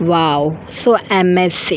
wow so a magic --